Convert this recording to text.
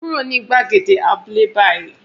Kúrò ní gbàgede abúlé báyìí